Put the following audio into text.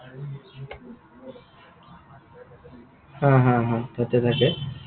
হা, হা, হা, তাতে থাকে।